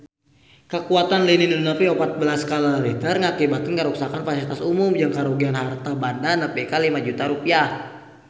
Kakuatan lini nu nepi opat belas skala Richter ngakibatkeun karuksakan pasilitas umum jeung karugian harta banda nepi ka 5 juta rupiah